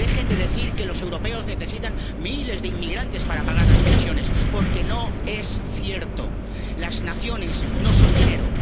Dejen de decir que los europeos necesitan miles de inmigrantes para pagar las pensiones, porque no es cierto. Las naciones no son dinero.